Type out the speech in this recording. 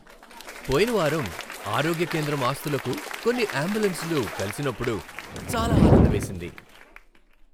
పోయిన వారం ఆరోగ్య కేంద్రం ఆస్తులకు కొన్ని అంబులెన్సులు కలిసినప్పుడు చాలా ఆనందమేసింది.